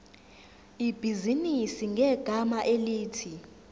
ibhizinisi ngegama elithi